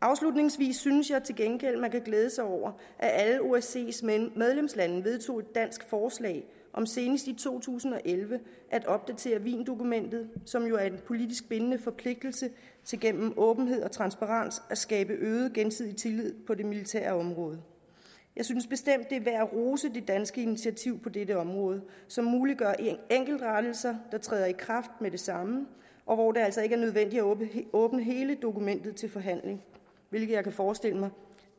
afslutningsvis synes jeg til gengæld man kan glæde sig over at alle osces medlemslande vedtog et dansk forslag om senest i to tusind og elleve at opdatere wiendokumentet som jo er en politisk bindende forpligtelse til gennem åbenhed og transparens at skabe øget gensidig tillid på det militære område jeg synes bestemt det er værd at rose det danske initiativ på dette område som muliggør enkeltrettelser der træder i kraft med det samme og hvor det altså ikke er nødvendigt at åbne hele dokumentet til forhandling hvilket jeg kan forestille mig